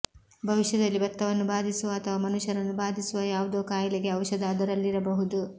ಭವಿಷ್ಯದಲ್ಲಿ ಭತ್ತವನ್ನು ಬಾಧಿಸುವ ಅಥವಾ ಮನುಷ್ಯರನ್ನು ಬಾಧಿಸುವ ಯಾವುದೋ ಕಾಯಿಲೆಗೆ ಔಷಧ ಅದರಲ್ಲಿರಬಹುದು